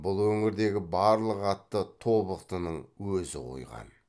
бұл өңірдегі барлық атты тобықтының өзі қойған